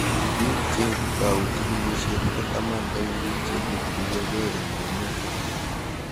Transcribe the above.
Pik che tau chikiklishet ko taman eng'pik chekituyokei eng' emet